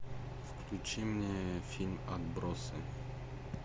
включи мне фильм отбросы